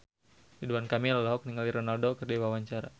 Ridwan Kamil olohok ningali Ronaldo keur diwawancara